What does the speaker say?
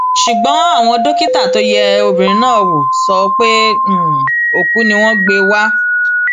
ṣùgbọn àwọn dókítà tó yẹ obìnrin náà wò sọ pé òkú ni wọn gbé wá